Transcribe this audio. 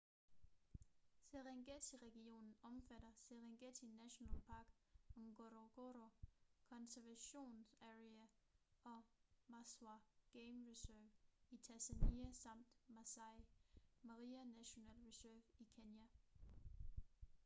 serengeti-regionen omfatter serengeti national park ngorongoro conservation area og maswa game reserve i tanzania samt maasai mara national reserve i kenya